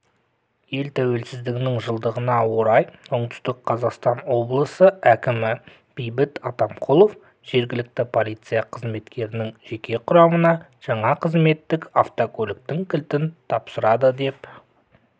ел тәуелсіздігінің жылдығына орай оңтүстік қазақстан облысы кімі бейбіт атамқұлов жергілікті полиция қызметінің жеке құрамына жаңа қызметтік автокөліктің кілтін тапсырды деп